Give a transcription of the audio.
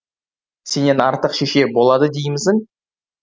сенен артық шеше болады деймісің